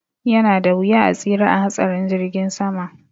Yanada wuya a tsira a hatsarin jirgin sama